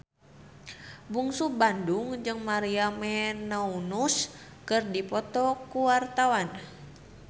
Bungsu Bandung jeung Maria Menounos keur dipoto ku wartawan